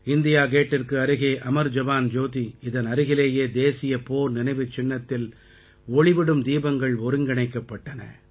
India கேட்டிற்கு அருகே அமர் ஜவான் ஜோதி இதன் அருகிலேயே தேசிய போர் நினைவுச்சின்னத்தில் ஒளிவிடும் தீபங்கள் ஒருங்கிணைக்கப்பட்டன